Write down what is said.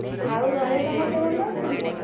ଆଉ ଘରେ ସମସ୍ତେ ଭଲ ଅଛନ୍ତି?